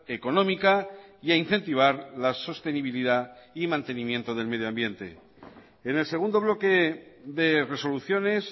económica y a incentivar la sostenibilidad y mantenimiento del medio ambiente en el segundo bloque de resoluciones